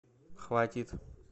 хватит